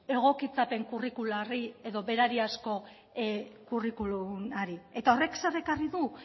egokitzapen kurrikularrei edo berariazko kurrikulumari eta horrek zer ekarri du